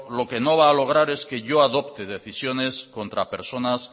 lo que no va a lograr es que yo adopte decisiones contra personas